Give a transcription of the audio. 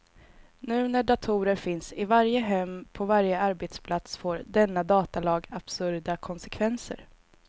Nu när datorer finns i varje hem, på varje arbetsplats får denna datalag absurda konsekvenser.